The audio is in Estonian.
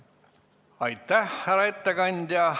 Aitäh!